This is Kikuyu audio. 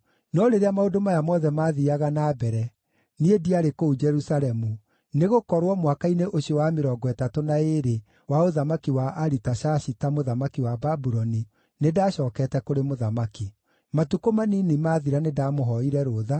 No rĩrĩa maũndũ maya mothe maathiiaga na mbere, niĩ ndiarĩ kũu Jerusalemu, nĩgũkorwo mwaka-inĩ ũcio wa mĩrongo ĩtatũ na ĩĩrĩ wa ũthamaki wa Aritashashita, mũthamaki wa Babuloni, nĩndacookete kũrĩ mũthamaki. Matukũ manini maathira nĩndamũhooire rũtha,